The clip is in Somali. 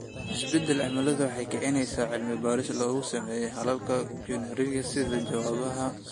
Isbeddelka cimiladu waxay kicinaysaa cilmi-baaris lagu sameeyo xalalka geoengineering sida jawaabaha suurtagalka ah ee heerkulka sare u kaca.